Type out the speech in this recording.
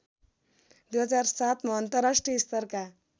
२००७ मा अन्तर्राष्ट्रिय स्तरका